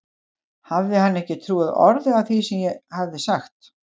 Hafði hann ekki trúað orði af því sem ég hafði sagt?